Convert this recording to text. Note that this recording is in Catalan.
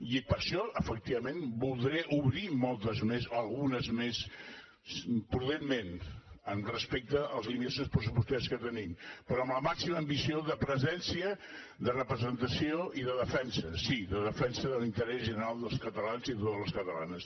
i per això efectivament voldré obrir moltes més algunes més prudentment amb respecte a les limitacions pressupostàries que tenim però amb la màxima ambició de presència de representació i de defensa sí de defensa de l’interès general dels catalans i de les catalanes